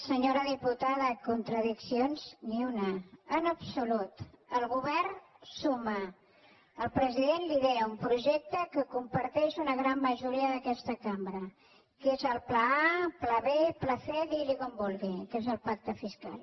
senyora diputada contradiccions ni una en absolut el govern suma el president lidera un projecte que comparteix una gran majoria d’aquesta cambra que és el pla a pla b pla c digui li com vulgui que és el pacte fiscal